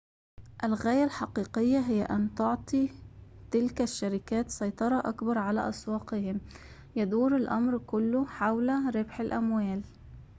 الغاية الحقيقية هي أن تعطي تلك الشركات سيطرة أكبر على أسواقهم يدور الأمر كله حول ربح الأموال